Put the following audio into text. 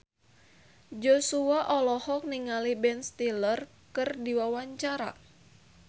Joshua olohok ningali Ben Stiller keur diwawancara